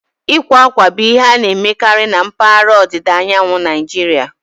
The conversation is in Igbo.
Ịkwa akwa bụ ihe a na-emekarị na mpaghara ọdịda anyanwụ Naijiria